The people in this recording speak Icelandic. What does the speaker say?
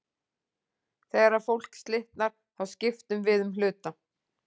Þegar fólk slitnar, þá skiptum við um hluta.